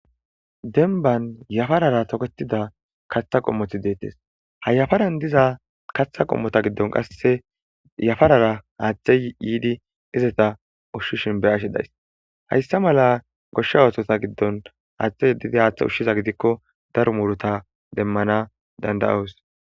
denban yafarara toketida kaththa qommoti deettes ha yafaran diza kaththa qommota giddon qasse yafarara aaththe yiidi izeta ushshishin be ashe days hayssa mala goshsha oothota giddon aaththe yedidi haaththe ushshiza gidikko daro muruta demmana dandayoos